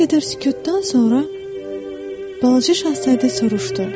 Bir qədər sükutdan sonra balaca şahzadə soruşdu: